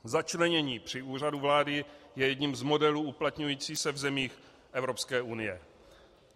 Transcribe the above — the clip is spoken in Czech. Začlenění při Úřadu vlády je jedním z modelů uplatňujících se v zemích Evropské unie.